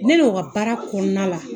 Ne n'o ka baara kɔnɔna la